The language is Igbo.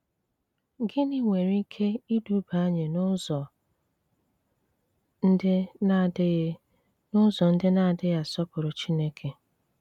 Gịnị nwere ike iduba anyị n’ụzọ ndị na-adịghị n’ụzọ ndị na-adịghị asọpụrụ Chineke?